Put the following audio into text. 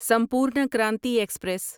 Sampoorna Kranti express